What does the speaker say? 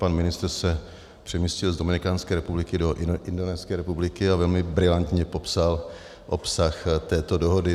Pan ministr se přemístil z Dominikánské republiky do Indonéské republiky a velmi brilantně popsal obsah této dohody.